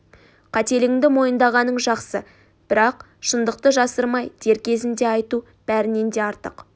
қателігіңді мойындағаның жақсы бірақ шындықты жасырмай дер кезінде айту бәрінен де артық